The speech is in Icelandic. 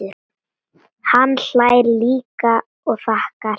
Hann hlær líka og þakkar.